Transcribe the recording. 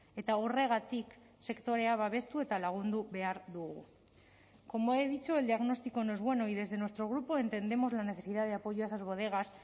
eta horregatik sektorea babestu eta lagundu behar dugu como he dicho el diagnóstico no es bueno y desde nuestro grupo entendemos la necesidad de apoyo a esas bodegas